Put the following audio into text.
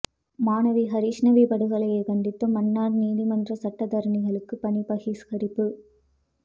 மாணவி ஹரிஸ்ணவி படுகொலையை கண்டித்து மன்னார் நீதிமன்ற சட்டத்தரணிகள் பணிப் பகிஸ்கரிப்பு